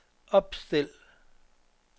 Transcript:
opstil